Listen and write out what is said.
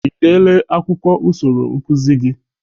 Ị dele akwụkwọ usoro nkụzị gị?